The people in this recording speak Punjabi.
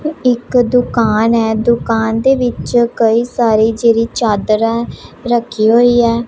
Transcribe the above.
ਇਕ ਤੂੰ ਦੁਕਾਨ ਹੈ ਦੁਕਾਨ ਦੇ ਵਿੱਚ ਕਈ ਸਾਰੀ ਜਿਹੜੀ ਚਾਦਰ ਰੱਖੀ ਹੋਈ ਹੈ।